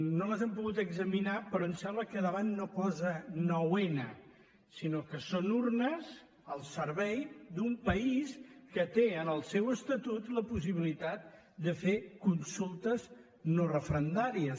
no les hem pogut examinar però em sembla que al davant no hi posa nou n sinó que són urnes al servei d’un país que té en el seu estatut la possibilitat de fer consultes no referendàries